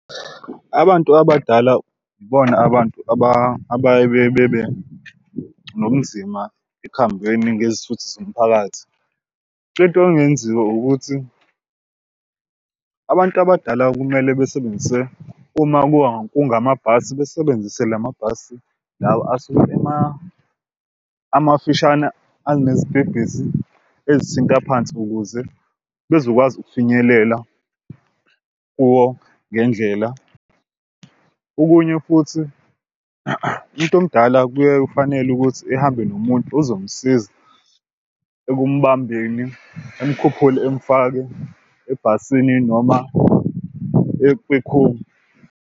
Abantu abadala ibona abantu abaye bebe nobunzima ekuhambeni ngezithuthi zomphakathi. Into engenziwa ukuthi abantu abadala kumele besebenzise uma kungamabhasi besebenzise lamabhasi lawa asuke emafishane anezitebhisi ezithinta phansi ukuze bezokwazi ukufinyelela kuwo ngendlela. Okunye futhi umuntu omdala kuye kufanele ukuthi ehambe nomuntu ozomsiza ekumbambeni emkhuphule emfake ebhasini noma kwikhumbi.